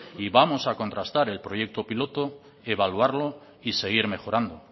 y vamos a contractar el proyecto piloto evaluarlo y seguir mejorando